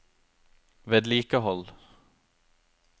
vedlikehold